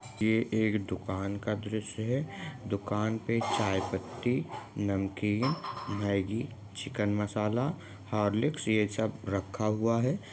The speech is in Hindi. ये एक दुकान का द्रश्य है दुकान पे चाय पत्ती नमकीन मेंगी चिकन मसाला हॉर्लिकस् ये सब रखा हुआ हैं।